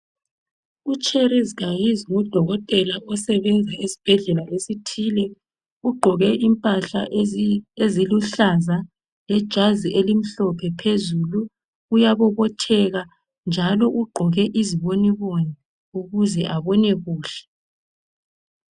UCherlse Gahizi ngudokotela osebenza esibhedlela esithile ugqoke impahla eziluhlaza lejazi elimhlophe phezulu uyabobotheka njalo ugqoke iziboniboni ukuze abone kuhle.